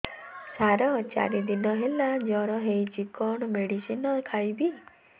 ସାର ଚାରି ଦିନ ହେଲା ଜ୍ଵର ହେଇଚି କଣ ମେଡିସିନ ଖାଇବି